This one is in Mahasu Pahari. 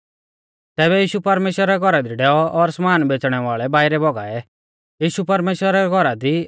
तैबै यीशु परमेश्‍वरा रै घौरा दी डैऔ और समान बेच़णै वाल़ै बाइरै भौगाऐ यीशु परमेश्‍वरा रै घौरा दी